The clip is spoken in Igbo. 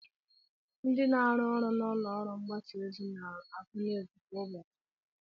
Ndị na-arụ ọrụ n'ụlọọrụ mgbasaozi na-agụ nuuz kwa ụbọchị